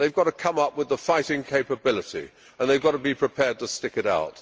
They have to come up with the fighting capability and they have to be prepared to stick it out.